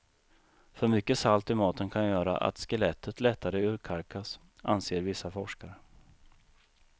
För mycket salt i maten kan göra att skelettet lättare urkalkas, anser vissa forskare.